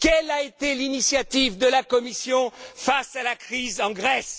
Quelle a été l'initiative de la Commission face à la crise en Grèce?